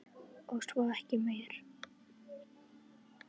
Og svo ekki meir.